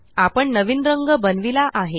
आपण नवीन रंग बनविला आहे